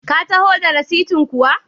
Ka taho da rasitin kuwa?